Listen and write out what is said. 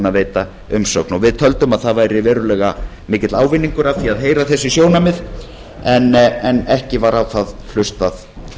að veita umsögn við töldum að það væri verulega mikill ávinningur af því að heyra þessi sjónarmið en ekki var á það hlustað